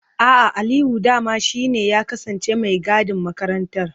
A'a, Aliyu dama shi ne ya kasance mai gadin makarantar.